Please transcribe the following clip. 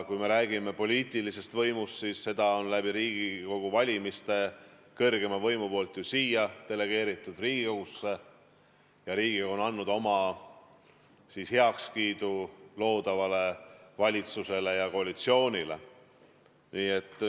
Kui me räägime poliitilisest võimust, siis see on Riigikogu valimiste kaudu ju delegeeritud siia, Riigikogusse, ja Riigikogu on andnud oma heakskiidu loodud valitsusele ja koalitsioonile.